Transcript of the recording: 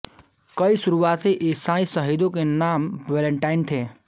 कई शुरुआती ईसाई शहीदों के नाम वैलेंटाइन थे